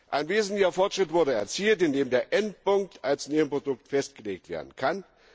Ein wesentlicher Fortschritt wurde erzielt, indem der Endpunkt als Nebenprodukt festgelegt werden kann.